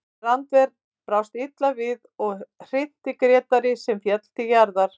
Rannver brást illa við og hrinti Grétari sem féll til jarðar.